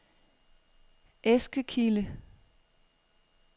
Eskekilde